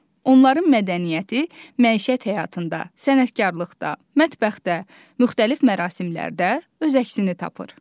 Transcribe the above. Onların mədəniyyəti, məişət həyatında, sənətkarlıqda, mətbəxdə, müxtəlif mərasimlərdə öz əksini tapır.